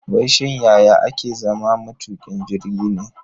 Wai shin yaya ake zama matukin jirgi ne?